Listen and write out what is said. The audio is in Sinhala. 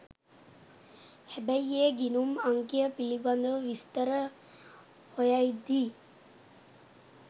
හැබැයි ඒ ගිණුම් අංකයපිළිබඳ විස්තර හොයද්දී